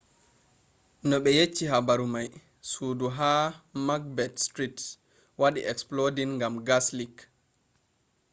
no ɓe yecci habaru mai sudu ha macbeth street wadi exploding gam gas leak